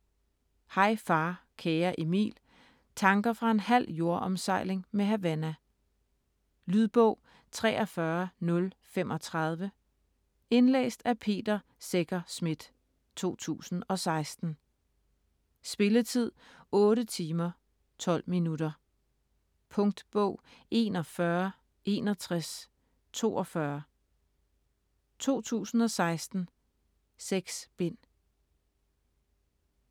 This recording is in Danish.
Hej far kære Emil: tanker fra en halv jordomsejling med Havana Lydbog 43035 Indlæst af Peter Secher Schmidt, 2016. Spilletid: 8 timer, 12 minutter. Punktbog 416142 2016. 6 bind.